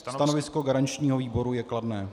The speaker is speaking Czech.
Stanovisko garančního výboru je kladné.